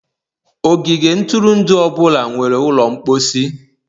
ogige ntụrụndụ ọ bụla nwere ụlọ mposi.